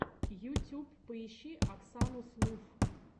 ютюб поищи оксану слуфф